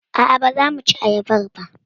A'a baza muci ayabar ba.